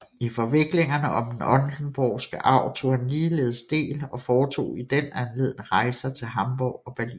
I forviklingerne om den oldenborgske arv tog han ligeledes del og foretog i den anledning rejser til Hamborg og Berlin